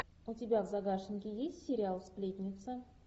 у тебя в загашнике есть сериал сплетница